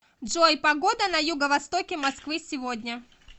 джой погода на юго востоке москвы сегодня